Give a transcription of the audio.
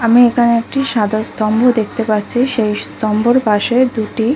আমি এখানে একটি সাদা স্তম্ভ দেখতে পাচ্ছি সেই স্তম্ভের পাশে দুটি--